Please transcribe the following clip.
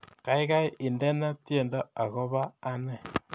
Gaigai indene tyendo agoba ane